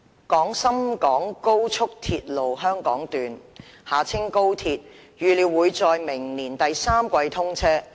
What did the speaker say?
廣深港高速鐵路香港段預料會在明年第三季通車。